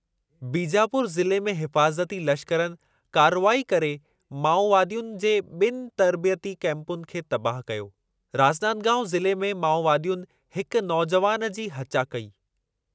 बीजापुर जिले में हिफ़ाज़ती लश्करनि कार्रवाई करे माओवादियुनि जे ॿिनि तर्बितयी कैपुनि खे तबाह कयो, राजनांदगांऊ ज़िले में माओवादियुनि हिकु नौजुवानि जी हचा कई।